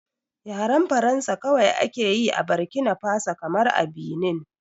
Yaren Faransa kawai ake yi a bakina faso kamar a Binin